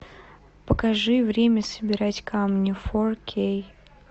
покажи время собирать камни фор кей